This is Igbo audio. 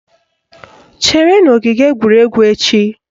Chere n'ogige egwuregwu echi!